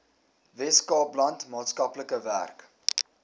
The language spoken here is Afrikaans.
weskaapland maatskaplike werk